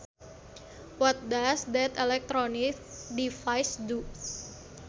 What does that electronic device do